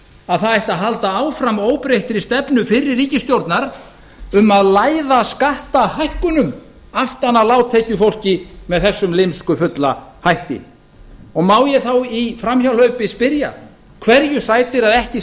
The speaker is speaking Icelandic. að það ætti að halda áfram óbreyttri stefnu fyrrverandi ríkisstjórnar að læða skattahækkunum aftan að lágtekjufólki með þessum lymskufulla hætti og má ég í framhjáhlaupi spyrja hverju sætir að ekki